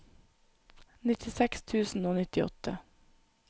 nittiseks tusen og nittiåtte